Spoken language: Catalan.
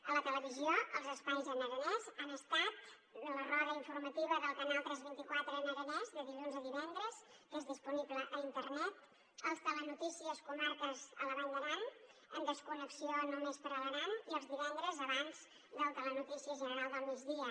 a la televisió els espais en aranès han estat la roda informativa del canal tres vint quatre en aranès de dilluns a divendres que és disponible a internet els telenotícies comarques a la vall d’aran en desconnexió només per a l’aran i els divendres abans del telenotícies general del migdia